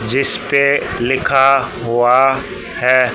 जिस पे लिखा हुआ है।